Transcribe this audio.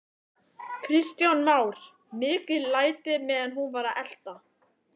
Kristján Már: Mikil læti meðan hún var að velta?